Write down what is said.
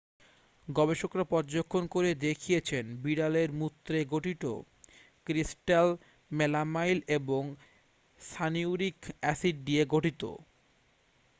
গবেষকরা পর্যবেক্ষণ করে দেখেছিলেন বিড়ালের মূত্রে গঠিত ক্রিস্ট্যাল মেলামাইন এবং সানিউরিক অ্যাসিড নিয়ে গঠিত